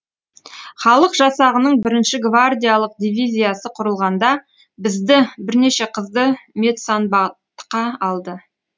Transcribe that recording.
халық жасағының бірінші гвардиялық дивизиясы құрылғанда бізді бірнеше қызды медсанбатқа алды